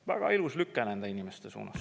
Väga ilus lükke nende inimeste suunas!